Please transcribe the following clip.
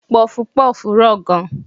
Pọfupọ́ọ̀fù rọ̀ gan.